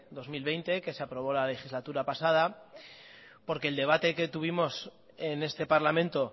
dos mil veinte que se aprobó en la legislatura pasada porque el debate que tuvimos en este parlamento